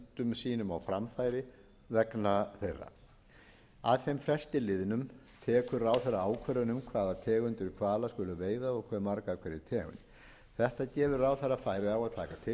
sínum á framfæri vegna þeirra að þeim fresti liðnum tekur ráðherra ákvörðun um hvaða tegundir hvala skuli veiða og hve marga af hverri tegund þetta gefur ráðherra færi á að taka